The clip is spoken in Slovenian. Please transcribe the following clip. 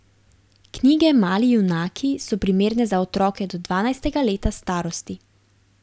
Knjige Mali junaki so primerne za otroke do dvanajstega leta starosti.